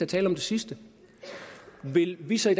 tale om det sidste vil vi så i